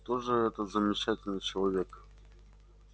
кто же этот замечательный человек